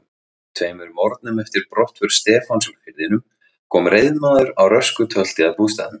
Tveimur morgnum eftir brottför Stefáns úr firðinum kom reiðmaður á rösku tölti að bústaðnum.